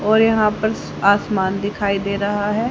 और यहां पर आसमान दिखाई दे रहा है।